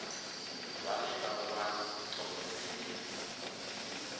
vhane vha wane u thogomela